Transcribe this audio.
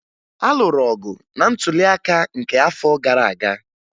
A lụrụ ọgụ na ntụliaka nke afọ gara aga